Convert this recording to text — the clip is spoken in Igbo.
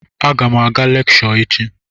A gam aga lekshọ echi.